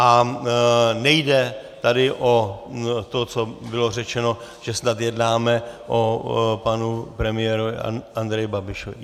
A nejde tady o to, co bylo řečeno, že snad jednáme o panu premiérovi Andreji Babišovi.